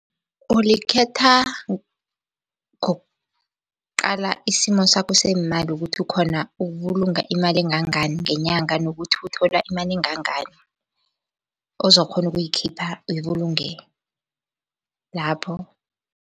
Ulikhetha ngokuqala isimo sakho seemali ukuthi ukhona ukubulunga imali engangani ngenyanga nokuthi uthola imali engangani. Ozokukghona ukuyikhipha ebulungeni lapho